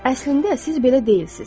Əslində siz belə deyilsiniz.